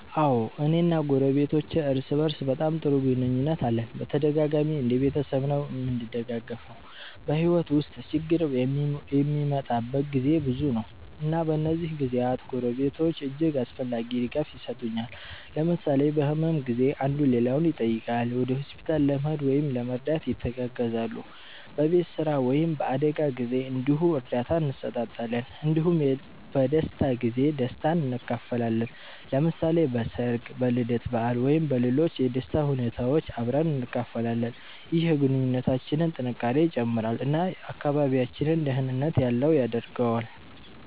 አዎ፣ እኔ እና ጎረቤቶቼ እርስ በእርስ በጣም ጥሩ ግንኙነት አለን እና በተደጋጋሚ እንደ ቤተሰብ ነዉ እምንደጋገፈዉ። በሕይወት ውስጥ ችግር የሚመጣበት ጊዜ ብዙ ነው፣ እና በእነዚህ ጊዜያት ጎረቤቶች እጅግ አስፈላጊ ድጋፍ የሰጡኛል። ለምሳሌ በህመም ጊዜ አንዱ ሌላውን ይጠይቃል፣ ወደ ሆስፒታል ለመሄድ ወይም ለመርዳት ይተጋገዛሉ። በቤት ስራ ወይም በአደጋ ጊዜ እንዲሁ እርዳታ እንሰጣጣለን እንዲሁም በደስታ ጊዜ ደስታን እንካፈላለን። ለምሳሌ በሠርግ፣ በልደት በዓል ወይም በሌሎች የደስታ ሁኔታዎች አብረን እንካፈላለን። ይህ የግንኙነታችንን ጥንካሬ ይጨምራል እና አካባቢያችንን ደህንነት ያለው ያደርገዋል።